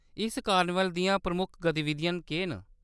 इस कार्निवल दियां प्रमुख गतिविधियां केह्‌‌ न ?